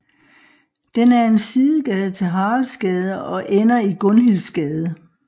Den er en sidegade til Haraldsgade og ender i Gunhildsgade